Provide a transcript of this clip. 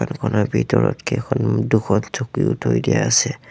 দোকানৰ ভিতৰত কেইখন দুখন চকীও থৈ দিয়া আছে।